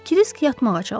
Krisk yatmağa çalışır.